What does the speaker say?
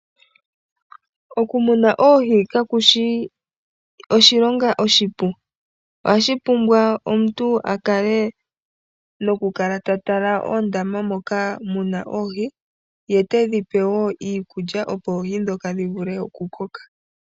Okumuna oohi kashi shi oshilonga oshipu, ohashi pumbwa omuntu a kale nokukala ta tala oondama moka mu na oohi, ye te dhi pe iikulya opo oohi ndhoka dhi vule oku koka.